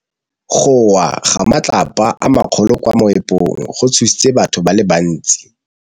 Go wa ga matlapa a magolo ko moepong go tshositse batho ba le bantsi.